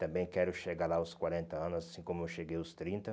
Também quero chegar lá aos quarenta anos, assim como eu cheguei aos trinta